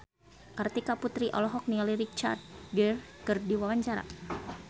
Kartika Putri olohok ningali Richard Gere keur diwawancara